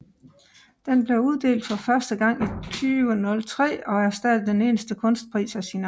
Den blev uddelt for første gang i 2003 og er stadig den eneste kunstpris af sin art